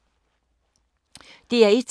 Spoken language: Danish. DR1